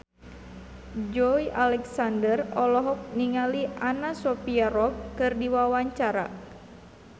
Joey Alexander olohok ningali Anna Sophia Robb keur diwawancara